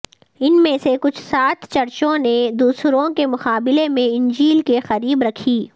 ان میں سے کچھ سات چرچوں نے دوسروں کے مقابلے میں انجیل کے قریب رکھی